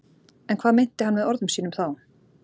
En hvað meinti hann með orðum sínum þá?